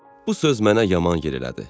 Bu söz mənə yaman yer elədi.